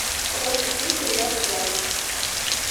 покажи фильм принять удар